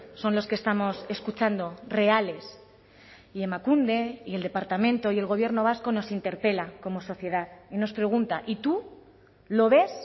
son los que estamos escuchando reales y emakunde y el departamento y el gobierno vasco nos interpela como sociedad y nos pregunta y tú lo ves